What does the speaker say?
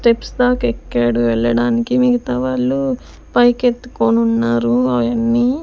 Steps దాకా ఎక్కాడు వెళ్ళడానికి మిగితా వాళ్ళు పైకి ఎత్తుకొని ఉన్నారు ఆయన్ని.